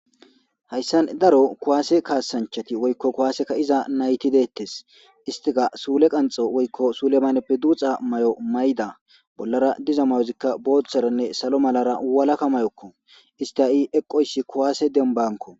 Hayssan daro kuwaase kaasanchati woykko kuwaaseka iza nayti deettes istika suule qanxo woykko sulemaneppe duuxa may'o mayda bollara diza mayozikka booththaranne salo malara walaka mayokko isti'ii eqoyssi kowaase denbanko.